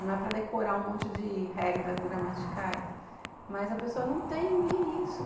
Não é para decorar um monte de regras gramaticais, mas a pessoa não tem nem isso.